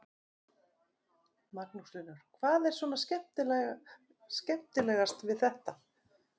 Magnús Hlynur: Hvað er svona skemmtilegast við þetta?